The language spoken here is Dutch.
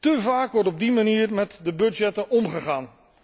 Te vaak wordt op die manier met de budgetten omgegaan.